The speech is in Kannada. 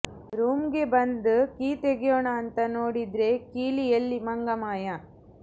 ರೂಮ್ಗ್ ಬಂದ್ ಕೀ ತೆಗ್ಯೋಣ ಅಂತ ನೋಡಿದ್ರೆ ಕೀ ಎಲ್ಲಿ ಮಂಗ ಮಾಯಾ